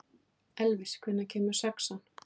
Elvis, hvenær kemur sexan?